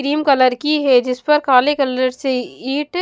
cream colour की है जिस पर काले कलर से ईट --